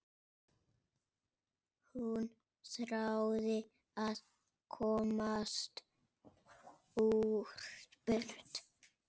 Hún þráði að komast burt.